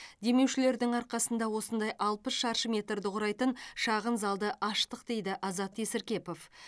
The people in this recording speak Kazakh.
демеушілердің арқасында осындай алпыс шаршы метрді құрайтын шағын залды аштық дейді азат есіркепов